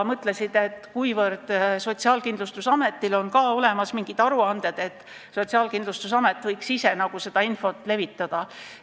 Nad leidsid, et kuivõrd Sotsiaalkindlustusametil on olemas ka mingid aruanded, siis võiks Sotsiaalkindlustusamet ise seda infot levitada.